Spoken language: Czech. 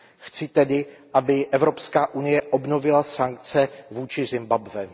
Chci tedy, aby Evropská unie obnovila sankce vůči Zimbabwe.